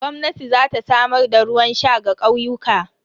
Gwamnati za ta samar da ruwan sha ga ƙauyuka.